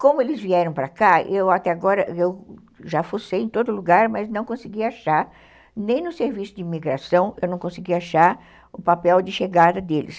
Como eles vieram para cá, eu até agora eu, já fossei em todo lugar, mas não consegui achar, nem no serviço de imigração, eu não consegui achar o papel de chegada deles.